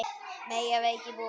Mega veikir búa þar?